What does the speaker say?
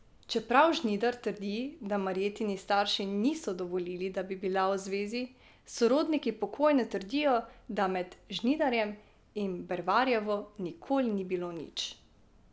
Čeprav Žnidar trdi, da Marjetini starši niso dovolili, da bi bila v zvezi, sorodniki pokojne trdijo, da med Žnidarjem in Bervarjevo nikoli ni bilo nič.